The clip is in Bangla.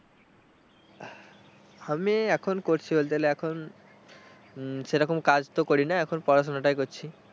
আমি এখন করছি বলতে গেলে এখন উম সেরকম কাজ তো করি না বলতে গেলে এখন পড়াশোনাটাই করছি।